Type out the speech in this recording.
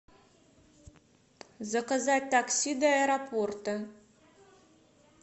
заказать такси до аэропорта